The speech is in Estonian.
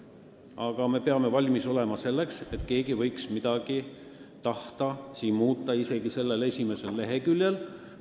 Aga me peame olema valmis selleks, et keegi võib tahta midagi muuta sellel esimesel leheküljel.